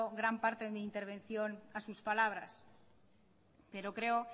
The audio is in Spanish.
gran parte de mi intervención a sus palabras pero creo